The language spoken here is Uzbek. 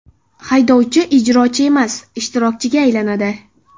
Haydovchi ijrochi emas ishtirokchiga aylanadi.